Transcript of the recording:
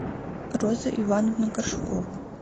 розу ивановну горшкову